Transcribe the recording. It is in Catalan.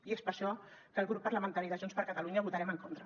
i és per això que el grup parlamentari de junts per catalunya hi votarem en contra